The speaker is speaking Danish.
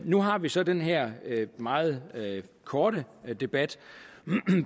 nu har vi så den her meget korte debat